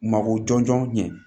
Mako jɔnjɔn ɲɛ